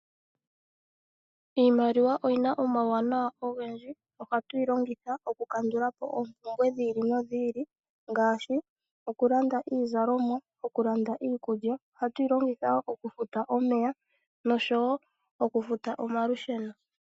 Iimaliwa oyina omauwanawa ogendji, ohatu yi longitha oku kandula po oompumbwe dhetu odhindji dhi ili nodhi ili ngaashi oku landa iizalomwa, oku landa iikulya, ohatuyi longitha wo okufuta omeya noshowo okufuta omalusheno.